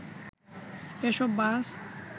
এসব বাস